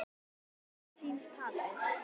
Um hvað snýst tapið?